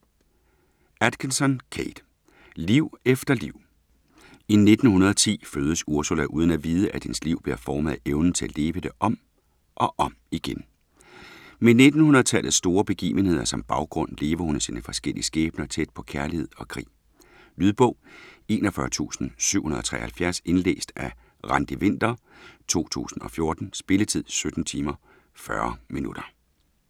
Atkinson, Kate: Liv efter liv I 1910 fødes Ursula uden at vide, at hendes liv bliver formet af evnen til at leve det om og om igen. Med 1900-tallets store begivenheder som baggrund, lever hun sine forskellige skæbner tæt på kærlighed og krig. Lydbog 41773 Indlæst af Randi Winther, 2014. Spilletid: 17 timer, 40 minutter.